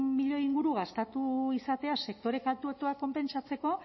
milioi inguru gastatu izatea sektore kaltetuak konpentsatzeko